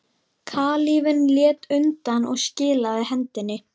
Kalífinn lét undan og skilaði hendinni.